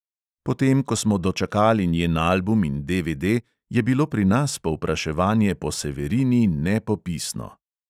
Potem ko smo dočakali njen album in DVD, je bilo pri nas povpraševanje po severini nepopisno.